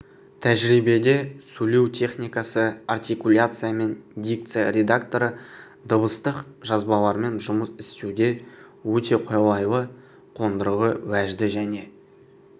тәжірибеде сөйлеу техникасы артикуляция мен дикция редакторы дыбыстық жазбалармен жұмыс істеуде өте қолайлы қондырғы уәжді және